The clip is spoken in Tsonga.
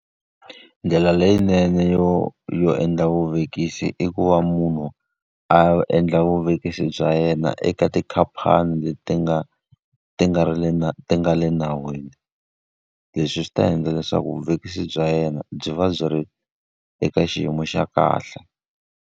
Ndlela leyinene yo yo endla vuvekisi i ku va munhu a endla vuvekisi bya yena eka tikhampani leti ti nga ti nga ri le ti nga le nawini. Leswi swi ta endla leswaku vuvekisi bya yena byi va byi ri eka xiyimo xa kahle.